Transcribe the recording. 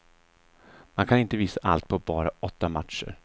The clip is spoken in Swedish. Man kan inte visa allt på bara åtta matcher.